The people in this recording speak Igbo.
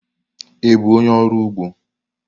Ị bụ onye ọrụ ugbo?